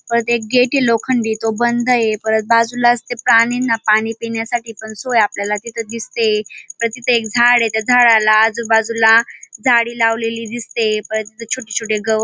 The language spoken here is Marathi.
परत एक गेट ये लोखंडी तो बंद ये परत बाजूला च ते प्राणिनां पाणी पिण्यासाठी पण सोय आपल्याला तिथ दिसतेय परत तिथ एक झाड त्या झाडाला आजूबाजूला झाडी लावलेली दिसतेय परत तिथ छोटे छोटे गवत --